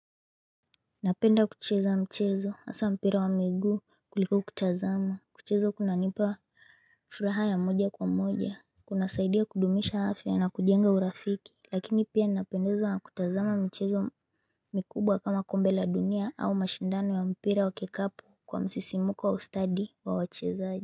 Napenda kucheza mchezo hasa mpira wa miguu kuliko kutazama kucheza kunanipa furaha ya moja kwa moja kunasaidia kudumisha afya na kujenga urafiki lakini pia ninapendezwa na kutazama michezo mikubwa kama kombe la dunia au mashindano ya mpira wa kikapu kwa msisimuko wa ustadi wa wachezaji.